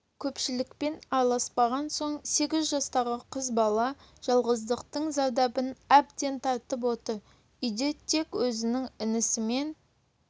көпшілікпен араласпаған соң сегіз жастағы қыз бала жалғыздықтың зардабын әбден тартып отыр үйде тек өзінің інісімен